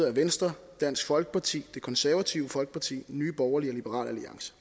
af venstre dansk folkeparti det konservative folkeparti nye borgerlige og liberal alliance